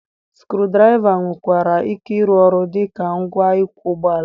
Skru draiva nwekwara ike ịrụ ọrụ dị ka ngwa ịkwọ ụgbọala